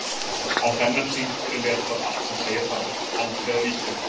Á þennan hring er letrað allt sem segja þarf: Aldrei að víkja!